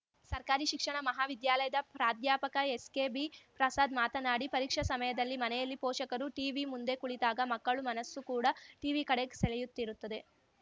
ಸರ್ಕಾರಿ ಶಿಕ್ಷಣ ಮಹಾವಿದ್ಯಾಲಯದ ಪ್ರಾಧ್ಯಾಪಕ ಎಸ್‌ಕೆಬಿಪ್ರಸಾದ್‌ ಮಾತನಾಡಿ ಪರೀಕ್ಷಾ ಸಮಯದಲ್ಲಿ ಮನೆಯಲ್ಲಿ ಪೋಷಕರು ಟಿವಿ ಮುಂದೆ ಕುಳಿತಾಗ ಮಕ್ಕಳು ಮನಸ್ಸು ಕೂಡಾ ಟಿವಿ ಕಡೆಗೆ ಸೆಳೆಯುತ್ತಿರುತ್ತದೆ